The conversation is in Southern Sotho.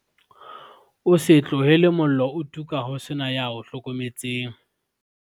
O se tlohele mollo o tuka ho se na ya o hlokometseng